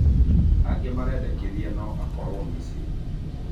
Angĩ marendekĩthĩa no akorwo Misirĩ